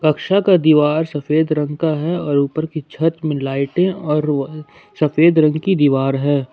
यहां का दीवार सफेद रंग का है और ऊपर की छत में लाइटें और सफेद रंग की दीवार है।